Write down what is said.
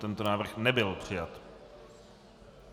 Tento návrh nebyl přijat.